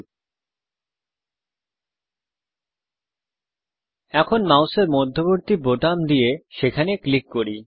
আসুন এখন মাউসের মধ্যবর্তী বোতাম দিয়ে সেখানে ক্লিক করি